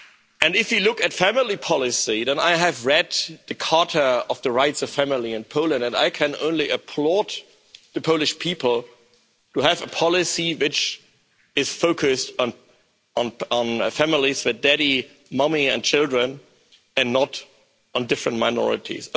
And if you look at family policy and I have read the charter of the rights of family in Poland I can only applaud the Polish people to have a policy which is focused on families with daddy, mummy and children, and not on different minorities.